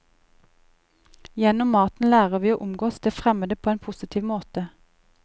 Gjennom maten lærer vi å omgås det fremmede på en positiv måte.